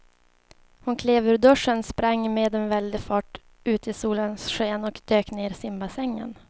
Hon klev ur duschen, sprang med väldig fart ut i solens sken och dök ner i simbassängen.